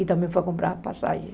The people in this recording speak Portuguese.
E também foi comprar a passagem.